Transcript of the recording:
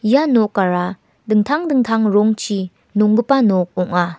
ia nokara dingtang dingtang rongchi nonggipa nok ong·a.